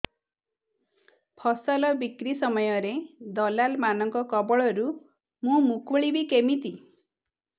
ଫସଲ ବିକ୍ରୀ ସମୟରେ ଦଲାଲ୍ ମାନଙ୍କ କବଳରୁ ମୁଁ ମୁକୁଳିଵି କେମିତି